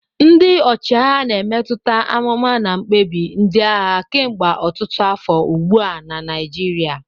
Ndị ọchịagha na-emetụta amụma na mkpebi ndị agha kemgbe ọtụtụ afọ ugbu a na Naijiria.